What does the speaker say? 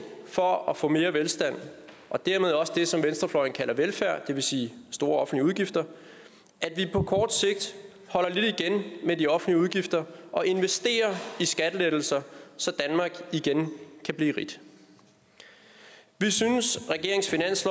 for at få mere velstand og dermed også det som venstrefløjen kalder velfærd det vil sige store offentlige udgifter at vi på kort sigt holder lidt igen med de offentlige udgifter og investerer i skattelettelser så danmark igen kan blive rigt vi synes